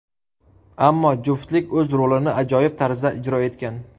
Ammo juftlik o‘z rolini ajoyib tarzda ijro etgan.